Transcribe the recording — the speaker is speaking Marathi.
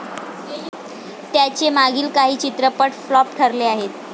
त्याचे मागील काही चित्रपट फ्लॉप ठरले आहेत.